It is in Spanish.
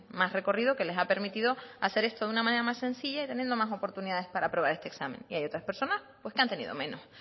más recorrido que les ha permitido hacer esto de una manera más sencilla y teniendo más oportunidades para aprobar este examen y hay otras personas pues que han tenido menos